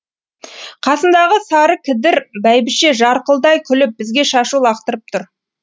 қасындағы сарыкідір бәйбіше жарқылдай күліп бізге шашу лақтырып тұр